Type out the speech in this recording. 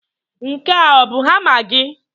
Nke a ọ bụ hama gị?